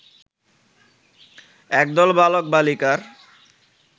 একদল বালক-বালিকার